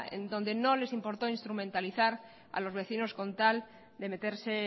en donde no les importó instrumentalizar a los vecinos con tal de meterse